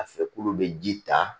A fɛ k'olu bɛ ji ta